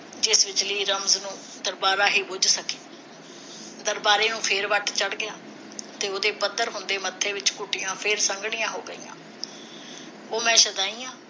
ਜਿਵੇਂ ਬਿਜਲੀ ਰਮਜ਼ ਨੂੰ ਦਰਬਾਰਾ ਹੀ ਬੁਝ ਸਕੇ ਦਰਬਾਰੇ ਨੂੰ ਫਿਰ ਵੱਟ ਚੜ ਗਿਆ ਤੇ ਉਹਦੇ ਹੁੰਦੇ ਮੱਥੇ ਵਿਚ ਘੁੱਟੀਆਂ ਫਿਰ ਸੰਘਣੀਆਂ ਹੋ ਗਈਆ ਉਹ ਮੈਂ ਸ਼ੁਆਦੀ ਆ